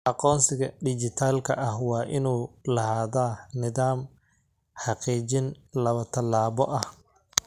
Aqoonsiga dhijitaalka ah waa inuu lahaadaa nidaam xaqiijin laba-tallaabo ah.